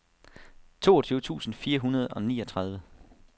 toogtyve tusind fire hundrede og niogtredive